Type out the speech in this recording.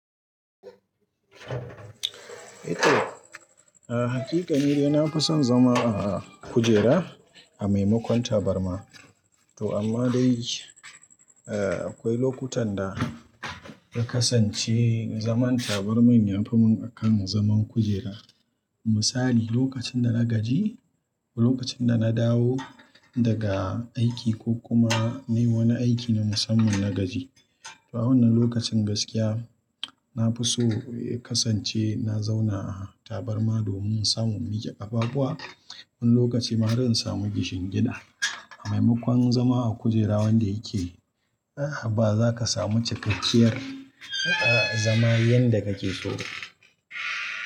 Eh to, a hakika ni dai nafi son zama a kujera a maimakon tabarma. To amma dai, eh akwai lokutan da ya kasance zaman tabarmin ya fi mun akan zaman kujera. Misali lokacin da na gaji ko lokacin da na dawo daga aiki ko kuma nayi wani aiki na musamman na gaji. To a wannan lokacin gaskiya na fi so ya kasance na zauna a tabarma domin samun mike kafafuwa. Wani lokaci ma zan samu kishingida. A maimakon zama a kujera wanda yake ba za ka samu cikakkiyar zama yanda kake so.